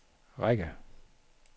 række